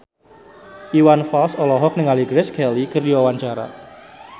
Iwan Fals olohok ningali Grace Kelly keur diwawancara